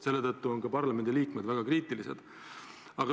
Selle tõttu on parlamendiliikmed ka praegu väga kriitilised.